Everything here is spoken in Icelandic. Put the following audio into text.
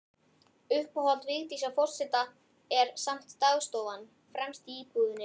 Uppáhald Vigdísar forseta er samt dagstofan, fremst í íbúðinni.